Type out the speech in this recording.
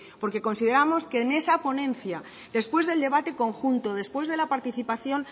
porque consideramos que en esa ponencia después del debate conjunto después de la participación